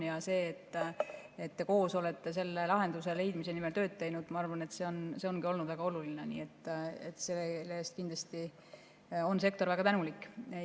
Ja see, et te olete koos lahenduse leidmise nimel tööd teinud, ma arvan, ongi olnud väga oluline, nii et selle eest on sektor kindlasti väga tänulik.